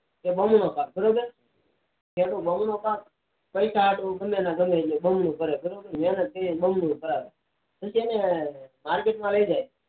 બમણો પાક નો બમણો થાય બમણો પાક ગવ ને ગવ ને બમણો કરે મહેનત થી બમણો થાય અને તે market માં લઇ જાય